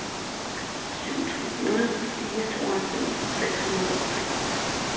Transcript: syv tre nul fire tooghalvfems seks hundrede og femogtres